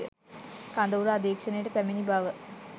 කඳවුර අධීක්‍ෂණයට පැමිණි බව